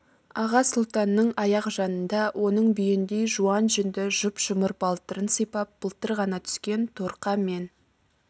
аға сұлтанның аяқ жанында оның бүйендей жуан жүнді жұп-жұмыр балтырын сипап былтыр ғана түскен торқа мен